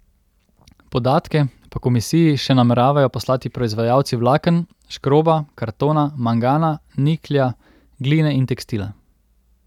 Podatke pa komisiji še nameravajo poslati proizvajalci vlaken, škroba, kartona, mangana, niklja, gline in tekstila.